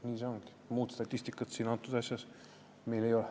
Nii ongi, muud statistikat meil selles asjas ei ole.